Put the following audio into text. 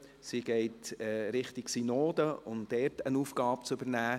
Sie geht Richtung Synode, um dort eine Aufgabe zu übernehmen.